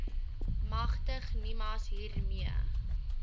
magtig nimas hiermee